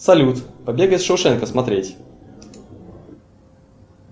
салют побег из шоушенка смотреть